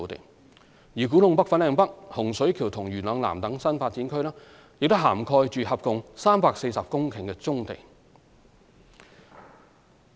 至於古洞北/粉嶺北、洪水橋及元朗南等新發展區，亦涵蓋合共約340公頃的棕地。